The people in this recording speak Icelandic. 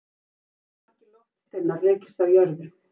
hvað hafa margir loftsteinar rekist á jörðu